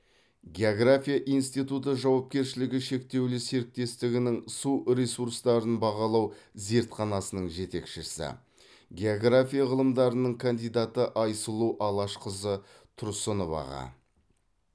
география институты жауапкершілігі шектеулі серіктестігінің су ресурстарын бағалау зертханасының жетекшісі география ғылымдарының кандидаты айсұлу алашқызы тұрсыноваға